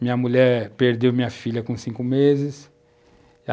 Minha mulher perdeu minha filha com cinco meses.